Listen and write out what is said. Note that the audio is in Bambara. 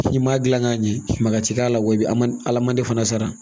N'i m'a gilan k'a ɲɛ maka ti k'a la wa i bi ma ala mandi fana sara